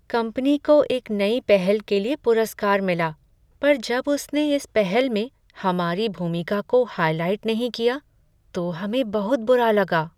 Company को एक नई पहल के लिए पुरस्कार मिला पर जब उसने इस पहल में हमारी भूमिका को हाइलाइट नहीं किया तो हमें बहुत बुरा लगा।